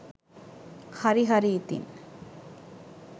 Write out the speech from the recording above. හරි හරි ඉතින්.